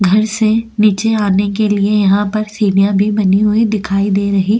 घर से नीचे आने के लिए यहां पर सीलियां भी बनी हुई दिखाई दे रही।